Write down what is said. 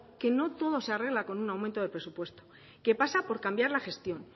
que no todo se arregla con un aumento de presupuesto que pasa por cambiar la gestión